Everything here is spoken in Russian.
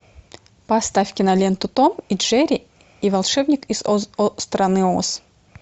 поставь киноленту том и джерри и волшебник из страны оз